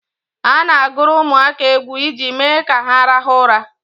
A na-agụrụ ụmụaka egwu iji mee ka ha rahụ ụra